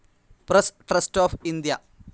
press trust of India